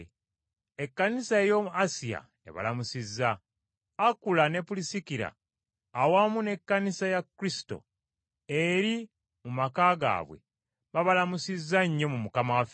Ekkanisa ey’omu Asiya ebalamusizza. Akula ne Pulisikira awamu n’Ekkanisa ya Kristo eri mu maka gaabwe babalamusizza nnyo mu Mukama waffe.